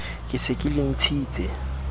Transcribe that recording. ke se ke le ntshitse